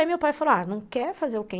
Aí meu pai falou, ah, não quer fazer o quê?